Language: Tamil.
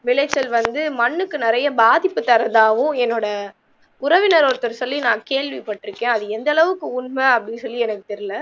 விளைச்சல் வந்து மண்ணுக்கு நெறைய பாதிப்பு தருவதாகவும் என்னோட உறவினர் ஒருத்தர் சொல்லி நான் கேள்விப்பட்டிருக்கேன் அது எந்த அளவுக்கு உண்மை அப்படின்னு சொல்லி எனக்கு தெரியல